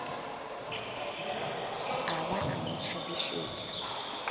a ba a mo tšhabišetša